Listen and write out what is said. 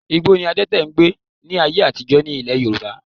Igbó ni adẹ́tè n gbé ní ayé àtijọ́ ní Ilẹ̀ Yorùbá